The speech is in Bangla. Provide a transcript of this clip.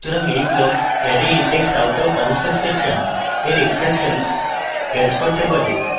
সুতরাং এই block arrayindexoutofboundsexception এর exceptions catch করতে পারে